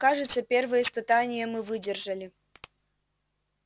кажется первое испытание мы выдержали